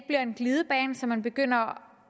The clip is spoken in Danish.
en glidebane så man begynder